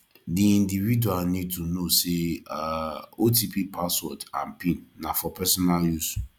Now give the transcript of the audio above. di individual need to know sey um otp password and pin na for personal use